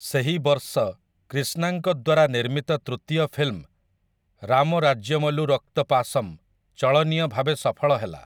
ସେହି ବର୍ଷ କ୍ରିଷ୍ଣାଙ୍କ ଦ୍ୱାରା ନିର୍ମିତ ତୃତୀୟ ଫିଲ୍ମ 'ରାମ ରାଜ୍ୟମଲୁ ରକ୍ତ ପାସମ୍‌' ଚଳନୀୟ ଭାବେ ସଫଳ ହେଲା ।